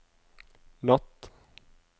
natt